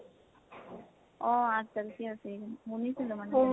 অহ। আঠ তাৰিখ আছে এই শুনিছিলো মানে